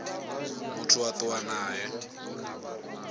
ṱho ḓea phanḓa ha musi